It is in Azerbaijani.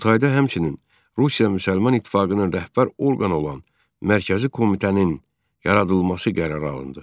Qurultayda həmçinin Rusiya müsəlman İttifaqının rəhbər orqanı olan Mərkəzi Komitənin yaradılması qərarı alındı.